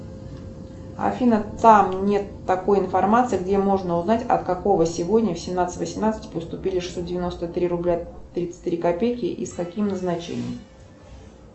афина там нет такой информации где можно узнать от какого сегодня в семнадцать восемнадцать поступили шестьсот девяносто три рубля тридцать три копейки и с каким назначением